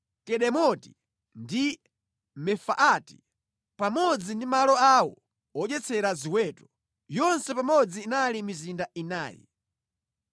Kedemoti ndi Mefaati, pamodzi ndi malo awo odyetsera ziweto. Yonse pamodzi inali mizinda inayi.